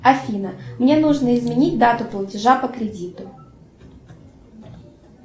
афина мне нужно изменить дату платежа по кредиту